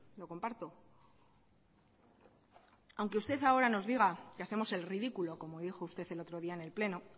lo comparto aunque usted ahora nos diga que hacemos el ridículo como dijo usted el otro día en el pleno